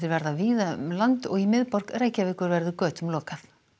verða víða um land og í miðborg Reykjavíkur verður götum lokað